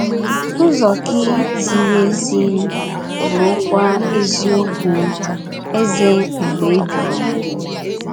Ụzọ gị ziri ezi, bụrụkwa eziokwu, Eze mgbe ebighị ebi.